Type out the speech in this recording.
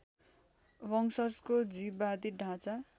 वंशजको जीववादी ढाँचा